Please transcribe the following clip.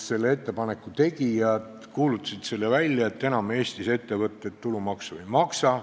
Selle ettepaneku tegijad kuulutasid välja, et enam Eestis ettevõtted tulumaksu ei maksa.